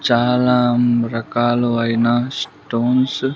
చాలా ఉమ్ రకాలు అయిన స్టోన్స్ .